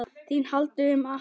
ÞÍN HALDI UM MANN!